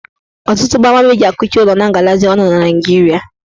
Ọtụtụ gbamgbam eji akụchị ụlọ na agalazị ọnụ na Naijiria